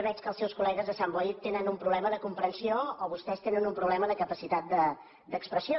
veig que els seu col·legues de sant boi tenen un problema de comprensió o vostès tenen un problema de capacitat d’expressió